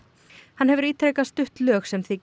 hann hefur ítrekað stutt lög sem þykja